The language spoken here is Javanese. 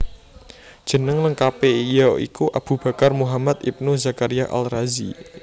Jeneng lengkapé ya iku Abu Bakar Muhammad ibn Zakaria Al Razi